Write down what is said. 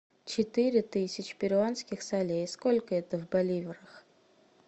четыре тысячи перуанских солей сколько это в боливарах